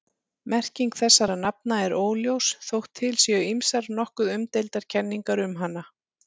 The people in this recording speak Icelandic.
Merking þessara nafna er óljós þótt til séu ýmsar nokkuð umdeildar kenningar um hana.